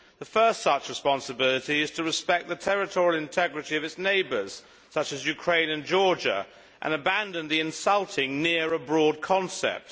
The first such responsibility is to respect the territorial integrity of its neighbours such as Ukraine and Georgia and abandon the insulting near abroad' concept.